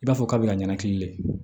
I b'a fɔ kabi ka ɲɛnakun le